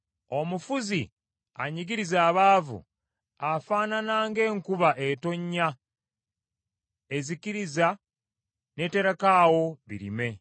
Omufuzi anyigiriza abaavu, afaanana nga enkuba etonnya ezikiriza n’eterekaawo birime.